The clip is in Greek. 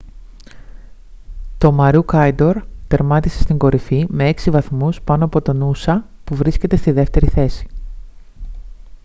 το maroochydore τερμάτισε στην κορυφή με έξι βαθμούς πάνω από το noosa που βρίσκεται στη δεύτερη θέση